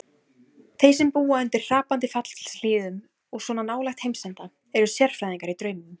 Þeir sem búa undir hrapandi fjallshlíðum og svona nálægt heimsenda, eru sérfræðingar í draumum.